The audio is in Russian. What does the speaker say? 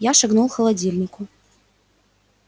я шагнул холодильнику